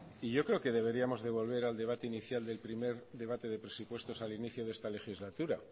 y yo creo que deberíamos de volver al debate inicial del primer debate de presupuestos al inicio de esta legislatura